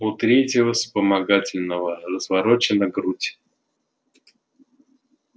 у третьего вспомогательного разворочена грудь